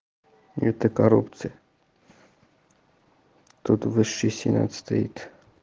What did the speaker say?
это коррупция тут высший сенат стоит